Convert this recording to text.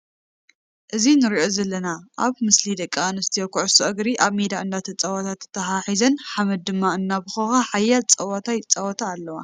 እዚ ንሪኦ ዘለና ኣብ ምስሊ ደቂ ኣንስትዮ ኩዕሶ እግሪ ኣብ ሜዳ እናተፃወታ ተተሓሂዝን ሓምድ ድማ እናቦከከ ሓያል ፀወታ ይፃውታ ኣለዋ ።